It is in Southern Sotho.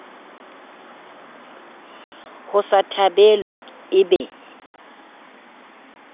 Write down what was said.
ho sa thabelwe e be